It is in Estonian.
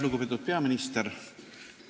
Lugupeetud peaminister!